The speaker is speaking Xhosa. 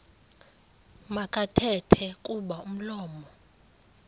makathethe kuba umlomo